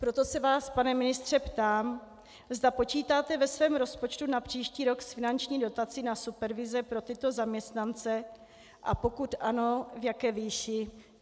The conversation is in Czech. Proto se vás, pane ministře, ptám, zda počítáte ve svém rozpočtu na příští rok s finanční dotací na supervize pro tyto zaměstnance, a pokud ano, v jaké výši.